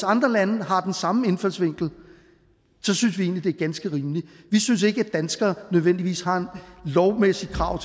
andre lande har den samme indfaldsvinkel synes vi egentlig det er ganske rimeligt vi synes ikke at danskere nødvendigvis har et lovmæssigt krav